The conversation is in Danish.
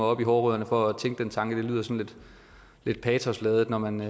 op ved hårrødderne for at tænke den tanke for det lyder sådan lidt patosladet når man